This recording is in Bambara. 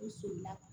U solila